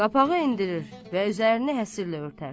Qapağı endirir və üzərini həsirlə örtər.